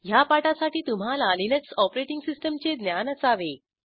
ह्या पाठासाठी तुम्हाला लिनक्स ऑपरेटिंग सिस्टीमचे ज्ञान असावे